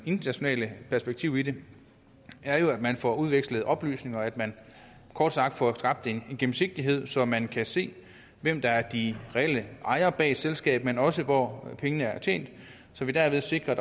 internationale perspektiv i det er jo at man får udvekslet oplysninger at man kort sagt får skabt en gennemsigtighed så man kan se hvem der er de reelle ejere bag et selskab men også hvor pengene er tjent så vi derved sikrer